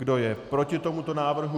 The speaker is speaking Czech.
Kdo je proti tomuto návrhu?